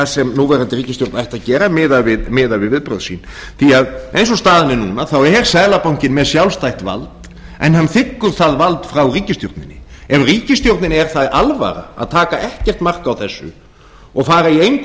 sem núverandi ríkisstjórn ætti að gera miðað við viðbrögð sín því að eins og staðan er núna er seðlabankinn með sjálfstætt vald en hann þiggur það vald frá ríkisstjórninni ef ríkisstjórninni er það alvara að taka ekkert mark á þessu og fara í engu